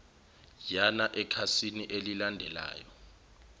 yana ekhasini elilandelayo